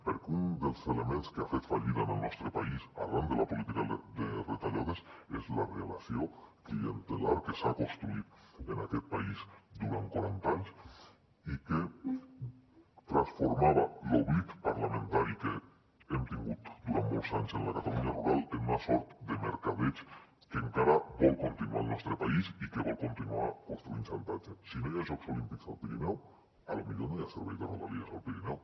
perquè un dels elements que ha fet fallida en el nostre país arran de la política de retallades és la relació clientelar que s’ha construït en aquest país durant quaranta anys i que transformava l’oblit parlamentari que hem tingut durant molts anys en la catalunya rural en una sort de mercadeig que encara vol continuar al nostre país i que vol continuar construint xantatge si no hi ha jocs olímpics al pirineu potser no hi ha servei de rodalies al pirineu